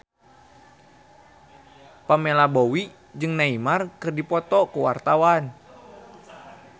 Pamela Bowie jeung Neymar keur dipoto ku wartawan